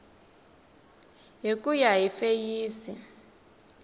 hi ku ya hi feyisi